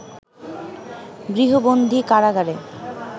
গৃহবন্দী কারাগারে